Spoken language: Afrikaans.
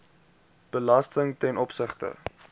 belasting ten opsigte